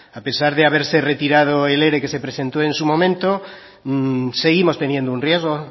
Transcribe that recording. a pesar de haberse retirado el ere que se presentó en su momento seguimos teniendo un riesgo